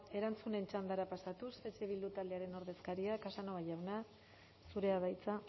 erantzunen txandara pasatuz eh bildu taldearen ordezkaria casanova jauna zurea da hitza